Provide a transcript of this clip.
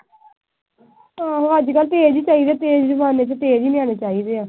ਆਹੋ ਅੱਜ ਕੱਲ੍ਹ ਤੇਜ ਈ ਚਾਹੀਦੇ। ਤੇਜ ਜਮਾਨੇ ਚ ਤੇਜ ਈ ਨਿਆਣੇ ਚਾਹੀਦੇ ਆ।